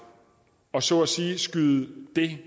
og så at sige skyde det